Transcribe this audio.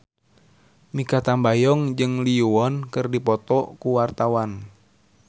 Mikha Tambayong jeung Lee Yo Won keur dipoto ku wartawan